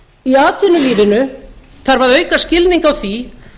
í atvinnulífinu þarf að auka skilning á því